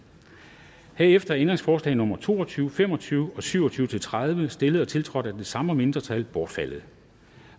herefter er ændringsforslag nummer to og tyve fem og tyve og syv og tyve til tredive stillet og tiltrådt af de samme mindretal bortfaldet